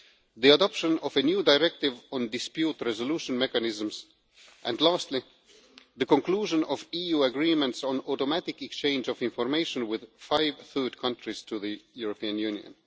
the adoption of a new Directive on Dispute Resolution Mechanisms and, lastly, the conclusion of EU agreements on automatic exchange of information with five third countries' to the European Union.